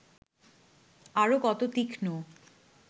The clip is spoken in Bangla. আরও কত তীক্ষ্ণ